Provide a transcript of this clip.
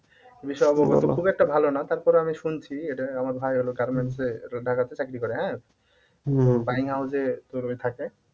এ বিষয়ে অবগত খুব একটা ভালো না তারপরে আমি শুনছি এটা আমার ভাই হল garments এ ঢাকাতে চাকরি করে হ্যাঁ? তোর ওই থাকে